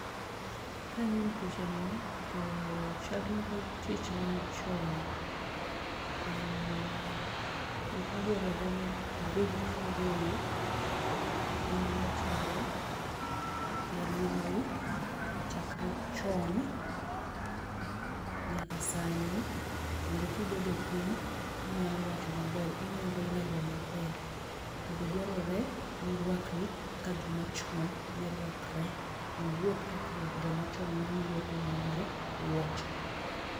Kang'iyo picha ni to chal na ka tich ma chon to gik maduarore ni ibed kingeyo gimane timore e aluorau chakre chon nyaka sani mondo kibedo piny inyalo wacho maber inyalo lero maber .To be dwarore ni irwakri kaka joma chon ne rwakre, iwuoth kaka joma chon ne wuotho ma onge wuoche.